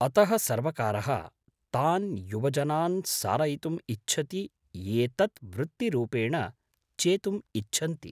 अतः सर्वकारः तान् युवजनान् सारयितुम् इच्छति ये तत् वृत्तिरूपेण चेतुम् इच्छन्ति?